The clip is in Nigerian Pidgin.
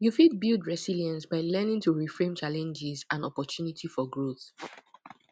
you fit build resilience by learning to reframe challenges and opportunity for growth